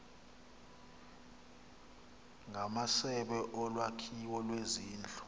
ngamasebe olwakhiwo lwezindlu